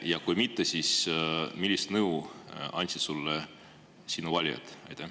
Ja kui mitte, siis millist nõu andsid sulle sinu valijad?